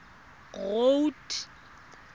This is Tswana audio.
road